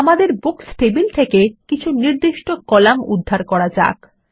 আমাদের books table থেকে কিছু নির্দিষ্ট কলাম উদ্ধার করা যাক